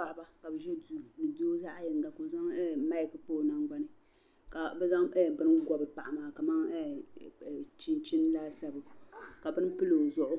Paɣaba ka bi ʒi duu ni doo zaɣ yinga ka o zaŋ maik kpa o nangbani ka bi zaŋ bini gobi paɣa maa kamani chinchin laasabu ka bini pili o zuɣu